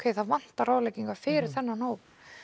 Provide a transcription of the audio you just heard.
það vantaði ráðleggingar fyrir þennan hóp